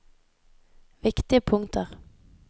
viktige punkter